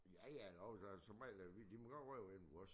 Ja ja jo så så må jeg vi de må gerne ryge inde ved os